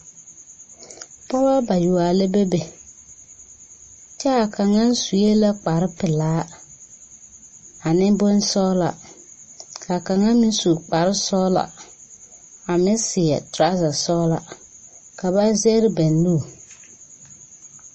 Pɔgeba bayoɔ la bebe kyɛ a kaŋa su la kparepelaa, ane bonsɔglɔ ka kaŋa meŋ su kparesɔglɔ a meŋ seɛ torɔza sɔglaa ka ba zɛgre ba nu.